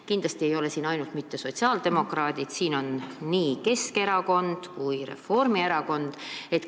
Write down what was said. Kindlasti ei ole nende seas mitte ainult sotsiaaldemokraadid, siin on inimesi nii Keskerakonnast kui ka Reformierakonnast.